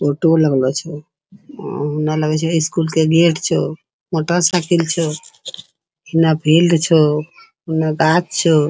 ऑटो लगलो छे | अअअ न लागै छे स्कूल के गेट छो मोटरसाइकिल छो ना बेल्ट छो ना गाछ छो।